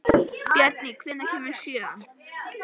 Bjarný, hvenær kemur sjöan?